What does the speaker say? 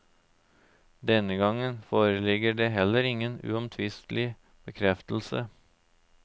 Denne gang foreligger det heller ingen uomtvistelig bekreftelse.